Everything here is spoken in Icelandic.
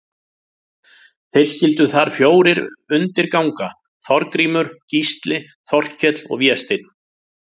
Þeir skyldu þar fjórir undir ganga, Þorgrímur, Gísli, Þorkell og Vésteinn.